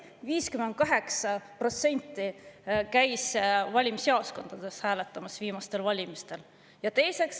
58% hääletanutest käis viimastel valimistel valimisjaoskondades.